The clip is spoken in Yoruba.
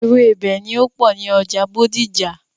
Ewébẹ̀ ni ó pọ̀ ní ọjà Bódìjà.